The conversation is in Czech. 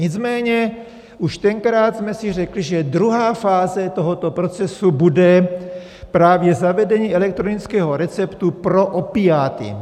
Nicméně už tenkrát jsme si řekli, že druhá fáze tohoto procesu bude právě zavedení elektronického receptu pro opiáty.